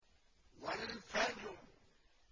وَالْفَجْرِ